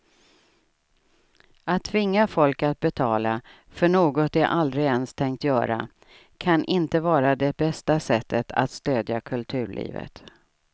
Att tvinga folk att betala för något de aldrig ens tänkt göra kan inte vara det bästa sättet att stödja kulturlivet.